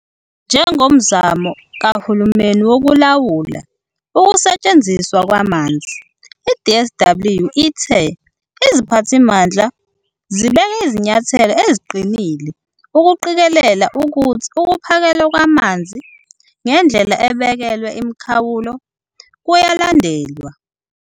Njengomzamo kahulumeni wokulawula ukusetshenziswa kwamanzi, i-DWS ithe iziphathimandla zibeke izinyathelo eziqinille ukuqikelela ukuthi ukuphakelwa kwamanzi ngendlela ebekelwe imikhawulo kuyalandelwa.